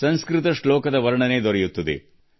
ಸಂಸ್ಕೃತ ಶ್ಲೋಕಗಳು ಈ ವಿವರಣೆಯನ್ನು ನೀಡುತ್ತವೆ